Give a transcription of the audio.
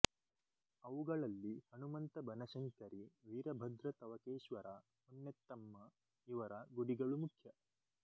ಅವುಗಳಲ್ಲಿ ಹನುಮಂತ ಬನಶಂಕರಿ ವೀರಭದ್ರ ತವಕೇಶ್ವರ ಹೊನ್ನೆತ್ತಮ್ಮ ಇವರ ಗುಡಿಗಳು ಮುಖ್ಯ